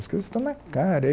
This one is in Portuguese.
As coisas estão na cara.